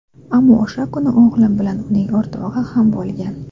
Ammo o‘sha kuni o‘g‘lim bilan uning o‘rtog‘i ham bo‘lgan.